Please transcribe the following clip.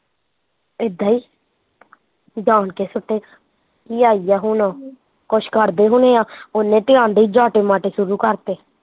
ਏਦਾਂ ਈ ਜਾਣ ਕੇ ਸੁੱਟੇ, ਕੀ ਆਈ ਆ ਹੁਣ, ਕੁਸ਼ ਕਰਦੇ ਹੁਣੇ ਆ, ਓਹਨੇ ਤੇ ਆਉਂਦੇ ਹੀਂ ਜਆਟੇ ਮਾਟੇ ਸ਼ੁਰੂ ਕਰਤੇ